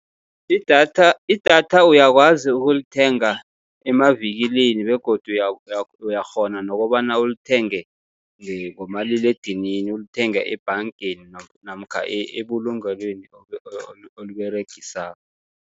Idatha, idatha uyakwazi ukulithenga emavikilini begodu uyakghona nokobana ulithenge ngomaliledinini, ulithenga ebhangeni namkha ebulungelweni oliberegisako.